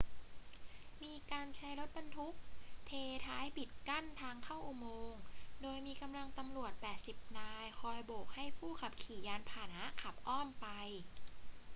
มีการใช้รถบรรทุกเทท้ายปิดกั้นทางเข้าอุโมงค์ โดยมีกำลังตำรวจ 80 นายคอยโบกให้ผู้ขับขี่ยานพาหนะขับอ้อมไป